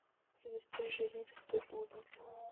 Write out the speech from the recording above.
предостережение святой блудницы